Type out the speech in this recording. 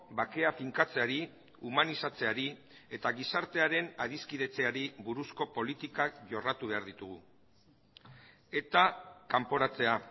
bakea finkatzeari humanizatzeari eta gizartearen adiskidetzeari buruzko politikak jorratu behar ditugu eta kanporatzea